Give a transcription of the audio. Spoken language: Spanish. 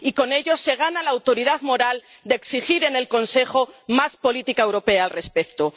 Y con ello se gana la autoridad moral de exigir en el Consejo más política europea al respecto.